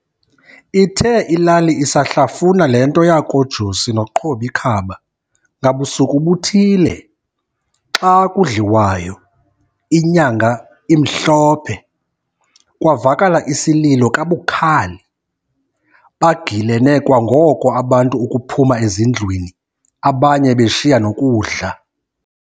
Ithe ilali isahlafuna le nto yakoJosi no"Qob'ikhaba", ngabusuku buthile, xa kudliwayo, inyanga imhlophe, kwavakala isililo kabukhali. Bagilene kwangoko abantu ukuphuma ezindlwini, abanye beshiya nokudla.